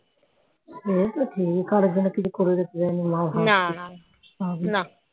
সে তো ঠিক কারর জন্যে কিছু করে যেতে পারেনি মাও মাও